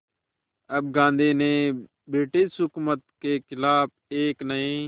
अब गांधी ने ब्रिटिश हुकूमत के ख़िलाफ़ एक नये